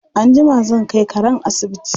Anjima zan kai karen asibiti.